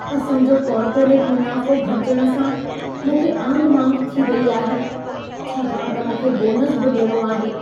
असां जो कॉर्पोरेट मुनाफ़ो घटिजण सां मूंखे आंधिमांध थी रही आहे, छाकाणि त मूंखे बोनस बि ॾियणो आहे।